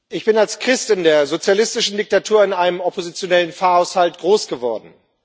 Ich bin als Christ in der sozialistischen Diktatur in einem oppositionellen Pfarrhaushalt groß geworden.